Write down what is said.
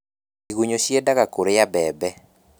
Igunyũ ciendaga kũrĩa mbembe